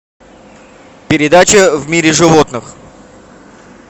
передача в мире животных